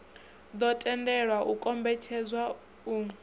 ḓo tendelwa u kombetshedza u